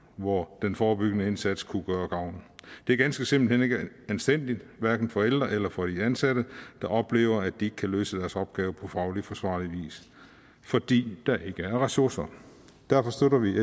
hvor den forebyggende indsats kunne gøre gavn det er ganske simpelt ikke anstændigt hverken for de ældre eller for de ansatte der oplever at de ikke kan løse deres opgaver på fagligt forsvarlig vis fordi der ikke er ressourcer derfor støtter vi